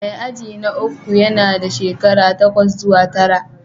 Mai aji na uku yana da shekara takwas zuwa tara